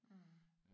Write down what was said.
Mh